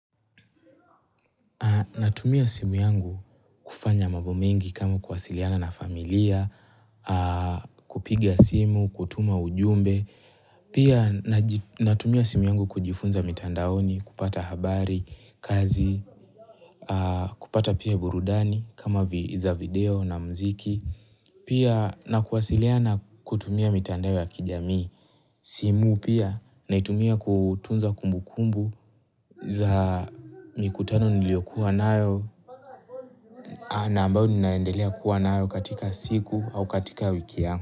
Natumia simu yangu kufanya mambo mengi kama kuwasiliana na familia, kupiga simu, kutuma ujumbe. Pia natumia simu yangu kujifunza mitandaoni, kupata habari, kazi, kupata pia burudani kama za video na muziki. Pia na kuwasiliana kutumia mitandao ya kijami. Simu pia naitumia kutunza kumbu kumbu za mikutano niliokuwa nayo na ambayo ninaendelea kuwa nayo katika siku au katika wiki yangu.